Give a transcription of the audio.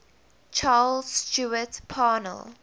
charles stewart parnell